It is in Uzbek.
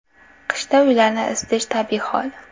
Qishda uylarni isitish tabiiy hol.